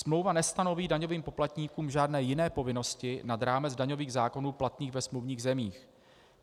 Smlouva nestanoví daňovým poplatníkům žádné jiné povinnosti nad rámec daňových zákonů platných ve smluvních zemích.